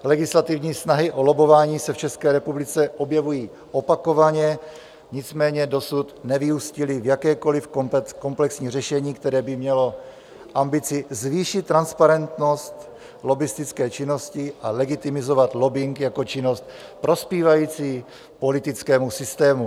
Legislativní snahy o lobbování se v České republice objevují opakovaně, nicméně dosud nevyústily v jakékoli komplexní řešení, které by mělo ambici zvýšit transparentnost lobbistické činnosti a legitimizovat lobbing jako činnost prospívající politickému systému.